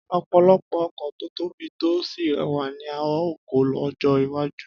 Ọ̀pọ̀lọpọ̀ ọkọ̀ tó tóbi tó sì rẹwà ni a óò kọ́ lọ́jọ́ iwájú